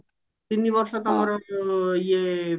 ତିନି ବର୍ଷ ତମର ଇଏ